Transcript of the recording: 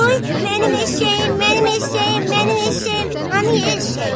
Oy, mənim eşşəyim, mənim eşşəyim, mənim eşşəyim, hanı eşşək?